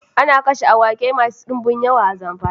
Ana kashe awaki masu dinbum yawa a Zamfara